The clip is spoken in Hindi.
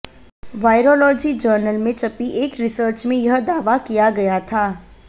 वायरोलॉजी जर्नल में छपी एक रिसर्च में यह दावा किया गया था